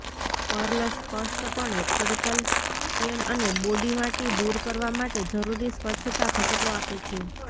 Perl સ્પષ્ટપણે ખડતલ stain અને બોડી માટી દૂર કરવા માટે જરૂરી સ્વચ્છતા ઘટકો આપે છે